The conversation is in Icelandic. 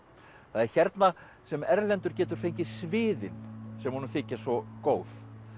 það er hérna sem Erlendur getur fengið sviðin sem honum þykja svo góð